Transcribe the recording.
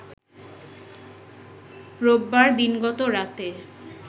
রোববার দিনগত রাতে